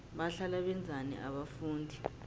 bahlala benzani abafundi